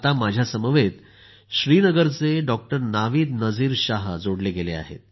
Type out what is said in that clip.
माझ्या समवेत श्रीनगरचे डॉक्टर नाविद शाह जोडले गेले आहेत